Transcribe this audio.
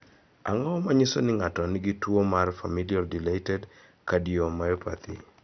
Ang�o ma nyiso ni ng�ato nigi tuo mar Familial dilated cardiomyopathy?